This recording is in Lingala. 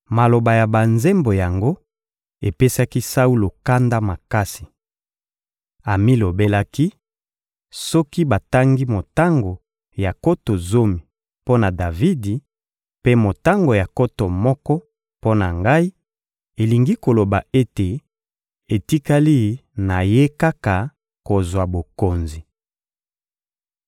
Maloba ya banzembo yango epesaki Saulo kanda makasi. Amilobelaki: «Soki batangi motango ya nkoto zomi mpo na Davidi, mpe motango ya nkoto moko mpo na ngai, elingi koloba ete etikali na ye kaka kozwa bokonzi!»